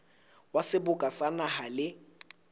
wa seboka sa naha le